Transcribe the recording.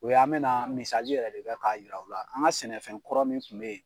O y'an bɛnaa misali yɛrɛ de kɛ k'a yir'aw la, an ŋa sɛnɛfɛn kɔrɔ min tun be ye